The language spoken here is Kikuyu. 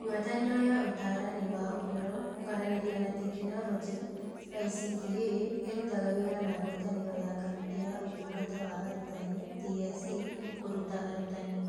Ngwatanĩro ya Ũtaarani wa Ũhoro, Kwaranĩria na Teknoroji (ICTA) ĩrutaga wĩra na ngwatanĩro ya Kamĩtĩ ya Ũtungata wa Arutani (TSC) kũruta arutani.